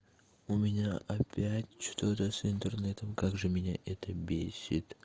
у меня опять что-то с интернетом как же меня это бесит